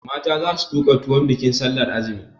Mata za su tuka tuwon bikin sallar azumi.